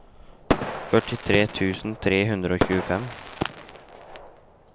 førtitre tusen tre hundre og tjuefem